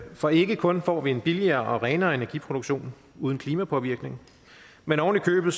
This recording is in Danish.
for ikke kun får vi en billigere og renere energiproduktion uden klimapåvirkning men oven i købet